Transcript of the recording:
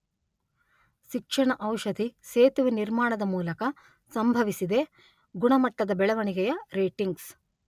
ಶಿಕ್ಷಣ ಔಷಧಿ ಸೇತುವೆ ನಿರ್ಮಾಣದ ಮೂಲಕ ಸಂಭವಿಸಿದೆ ಗುಣಮಟ್ಟದ ಬೆಳವಣಿಗೆಯ ರೇಟಿಂಗ್ಸ್.